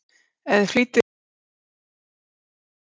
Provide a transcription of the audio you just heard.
Ef þið flýtið ykkur ekki verður allt búið þegar